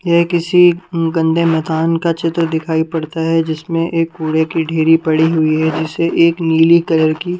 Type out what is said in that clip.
यह किसी गंदे मैतान का चित्र दिखाई पड़ता है जिसमें एक कूड़े की ढेरी पड़ी हुई है जिसे एक नीली कलर की--